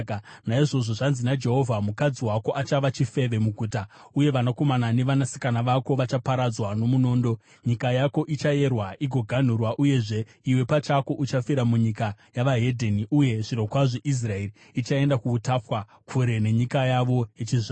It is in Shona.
“Naizvozvo zvanzi naJehovha: “ ‘Mukadzi wako achava chifeve muguta, uye vanakomana nevanasikana vako vachaparadzwa nomunondo. Nyika yako ichayerwa igoganhurwa, uyezve iwe pachako uchafira munyika yevedzimwe ndudzi, Uye zvirokwazvo Israeri ichaenda kuutapwa, kure nenyika yavo yechizvarwa.’ ”